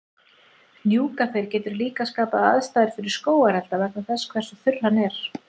Hnjúkaþeyr getur líka skapað aðstæður fyrir skógarelda vegna þess hversu þurr hann er.